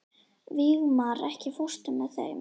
Vígmar, ekki fórstu með þeim?